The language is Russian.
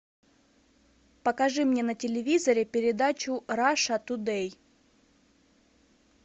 покажи мне на телевизоре передачу раша тудей